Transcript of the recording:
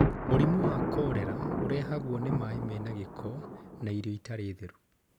Mũrimũ wa korera ũrehagwo nĩ maĩ mena gĩko na irio itarĩ theru